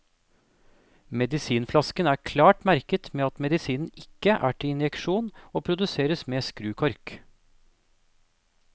Medisinflasken er klart merket med at medisinen ikke er til injeksjon, og produseres med skrukork.